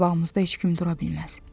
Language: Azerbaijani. Qabağımızda heç kim dura bilməz.